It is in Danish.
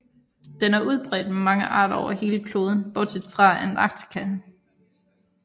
Den er udbredt med mange arter over hele kloden bortset fra Antarktis